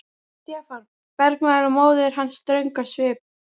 Stefán! bergmálaði móðir hans ströng á svip.